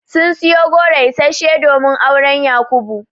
Sun siyo goro isasshe domin auren Yakubu.